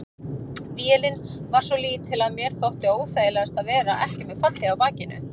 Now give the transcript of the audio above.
Vélin var svo lítil að mér þótti óþægilegast að vera ekki með fallhlíf á bakinu.